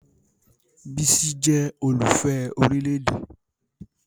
Bísí jẹ́ olùfẹ́ orílè-èdè